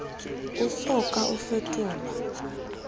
o so ka o fetolelwa